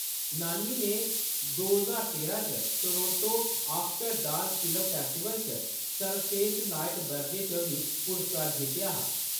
नानी ने दो ज्हार तेरां च Toronto After Dark Film Festival च सर्वश्रेष्ठ नायक दर्जे च बी पुरस्कार जित्तेआ हा।